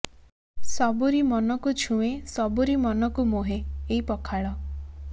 ସବୁରି ମନ କୁ ଛୁଏଁ ସବୁରି ମନ କୁ ମୋହେ ଏଇ ପଖାଳ